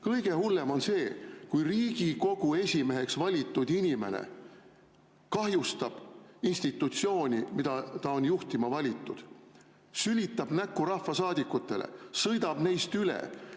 Kõige hullem on see, kui Riigikogu esimeheks valitud inimene kahjustab institutsiooni, mida ta on juhtima valitud, sülitab näkku rahvasaadikutele, sõidab neist üle.